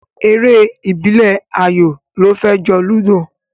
Eré ìbílẹ̀ ayò ló fẹ́ jọ Ludo